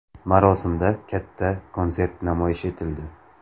Marosimda katta konsert namoyish etildi.